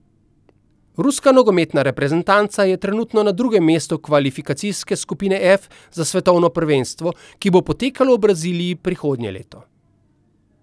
Ruska nogometna reprezentanca je trenutno na drugem mestu kvalifikacijske skupine F za svetovno prvenstvo, ki bo potekalo v Braziliji prihodnje leto.